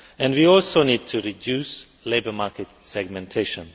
We also need to reduce labour market segmentation.